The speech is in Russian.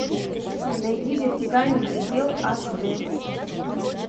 найди вертикальный предел аш дэ